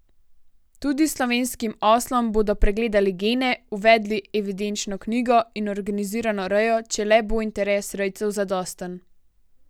Tudi slovenskim oslom bodo pregledali gene, uvedli evidenčno knjigo in organizirano rejo, če le bo interes rejcev zadosten.